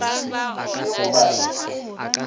e fe goba e fe